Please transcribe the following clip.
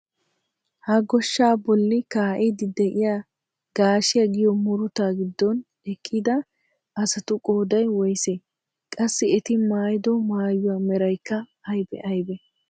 Ha goshshaa bolli ka"iidi de'iyaa gaashshiyaa giyo murutaa giddon eqqida asatu qooday woysee? Qassi eti maayido maayuwaa meraykka aybee aybee?